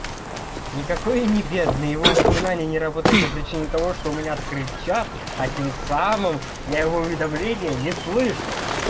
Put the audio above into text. никакой я не бедный его упоминание не работает по причине того что у меня открыт чат а тем самым я его уведомления не слышу